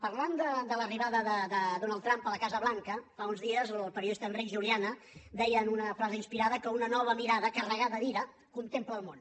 parlant de l’arribada de donald trump a la casa blanca fa uns dies el periodista enric juliana deia en una frase inspirada que una nova mirada carregada d’ira contempla el món